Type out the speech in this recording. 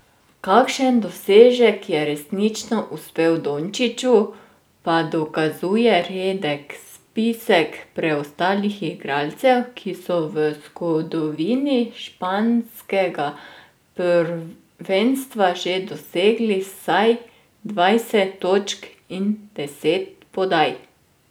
Kakšen dosežek je resnično uspel Dončiću, pa dokazuje redek spisek preostalih igralcev, ki so v zgodovini španskega prvenstva že dosegli vsaj dvajset točk in deset podaj.